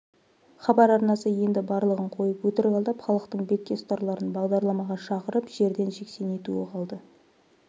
хабар арнасы енді барлығын қойып өтірік алдап халықтың бетке ұстарларын бағдарламаға шақырып жерден жексен етуі қалды